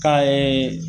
Ka